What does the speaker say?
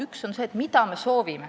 Üks on see, et mida me soovime.